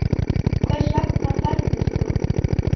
Hvers vegna fermist þú?